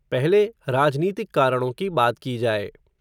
पहले, राजनीतिक कारणों की बात की जाए